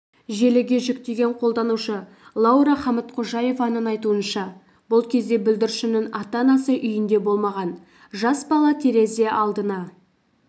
желіге жүктеген қолданушы лаура хамытқожаеваның айтуынша бұл кезде бүлдіршіннің ата-анасы үйінде болмаған жас бала терезе алдына